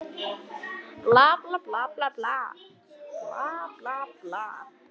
Keppt var í einstaklingskeppni í gær